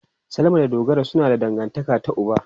Salama da Dogara suna da dangantaka ta uba.